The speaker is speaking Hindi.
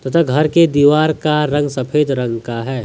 त घर के दीवार का रंग सफेद रंग का है।